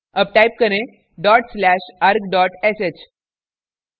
arg type करें dot slash arg sh